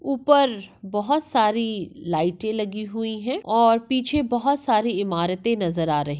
उपर बहुत सारी लाइटे लगी हुई है और पीछे बहुत सारी इमारत नजर आ रही--